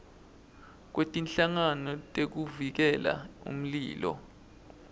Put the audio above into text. kwetinhlangano tekuvikela umlilo